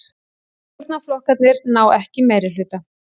Stjórnarflokkarnir ná ekki meirihluta